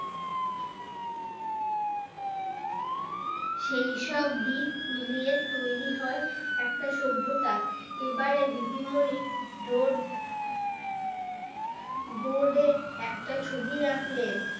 সেই সব দিক মিলিয়ে তৈরী হয় একটা সভ্যতা এবারে দিদিমনি রোড বোর্ডে একটা ছবি আঁকলেন